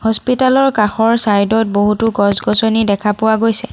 হস্পিটালৰ কাষৰ চাইডত বহুতো গছ-গছনি দেখা পোৱা গৈছে।